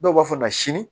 Dɔw b'a fɔ ma sini